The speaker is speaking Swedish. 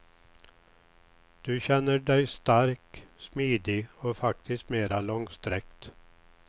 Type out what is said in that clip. Du känner dig stark, smidig och faktiskt mera långsträckt.